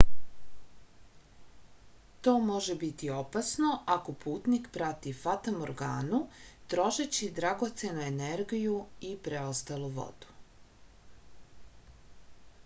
to može biti opasno ako putnik prati fatamorganu trošeći dragocenu energiju i preostalu vodu